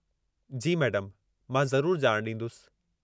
जी मैडमु, मां ज़रूरु ॼाण ॾींदुसि।